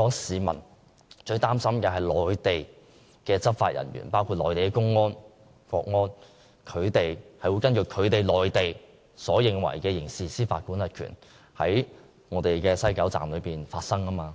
而是內地執法人員，包括內地公安和國安人員會根據內地所理解的準則，在西九龍站執行刑事司法管轄權。